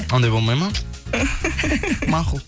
ондай болмайды ма мақұл